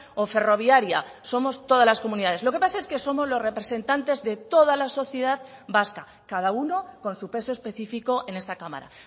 o ferroviaria somos todas las comunidades lo que pasa es que somos los representantes de toda la sociedad vasca cada uno con su peso específico en esta cámara